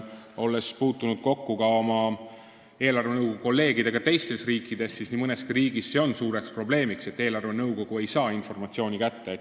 Olles puutunud kokku oma kolleegidega teiste riikide eelarvenõukogudes, tean, et nii mõneski riigis on suur probleem, et eelarvenõukogu ei saa informatsiooni kätte.